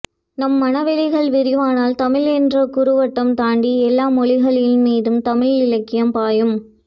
நம் மனவெளிகள் விரிவானால் தமிழ் என்ற குறுவட்டம் தாண்டி எல்லா மொழிகளின் மீதும் தமிழ் இலக்கியம் பாயும்